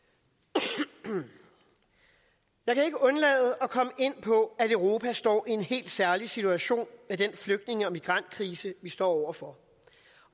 jeg jeg kan ikke undlade at på at europa står i en helt særlig situation med den flygtninge og migrantkrise vi står over for